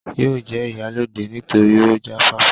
yóò jẹ ìyálóde nítorí ó jáfáfá